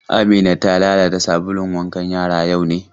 Amina ta lalata sabulun wankan yara yau ne?